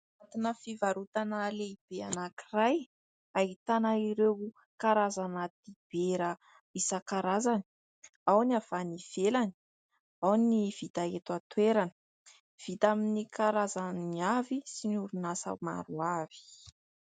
anatina fivarotana lehibe anankiray ahitana ireo karazana dibera isan-karazany ao ny avy any ivelany ao ny vita eto an-toerana vita amin'ny karazany avy sy ny orinasa maro avy